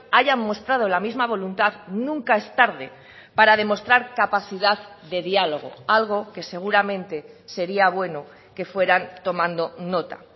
hayan mostrado la misma voluntad nunca es tarde para demostrar capacidad de diálogo algo que seguramente sería bueno que fueran tomando nota